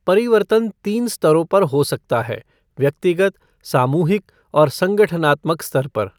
परिवर्तन तीन स्तरों पर हो सकता है, व्यक्तिगत, सामूिहक और संगठनात्मक स्तर पर।